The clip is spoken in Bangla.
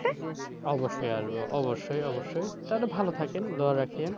অবশ্যই আসবো, অবশ্যই অবশ্যই তাহলে ভালো থাকেন, দোয়া রাখেন,